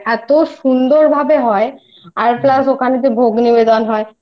সন্ধ্যে আরতিটা এতো সুন্দরভাবে হয় আর Plus ওখানে তো ভোগ নিবেদন হয়